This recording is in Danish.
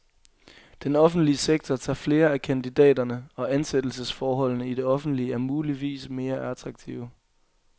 Den offentlige sektor tager flere af kandidaterne, og ansættelsesforholdene i det offentlige er muligvis mere attraktive.